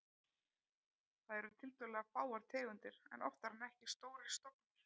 Þar eru tiltölulega fáar tegundir en oftar en ekki stórir stofnar.